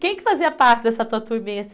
Quem que fazia parte dessa tua turminha?